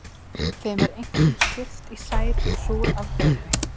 Þeim er einkum skipt í sæt og súr afbrigði.